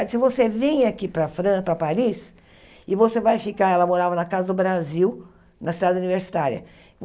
Ela disse, você vem aqui para Fran para Paris e você vai ficar... Ela morava na Casa do Brasil, na cidade universitária.